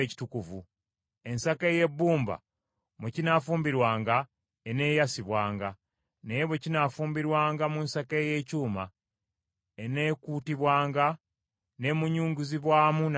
Ensaka ey’ebbumba mwe kinaafumbirwanga eneeyasibwanga; naye bwe kinaafumbirwanga mu nsaka ey’ekyuma, eneekuutibwanga n’emunyunguzibwamu n’amazzi.